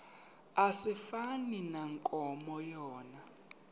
asifani nankomo yona